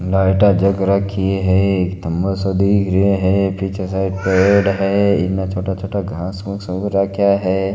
लाइटाँ जग राखी है खम्भा सा दीख रा है पीछे शायद पेड़ है इने छोटा छोटा घास फूस उग राखया है।